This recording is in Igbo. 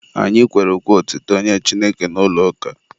Anyị kwere ukwe otuto nye Chineke n'ụlọ ụka.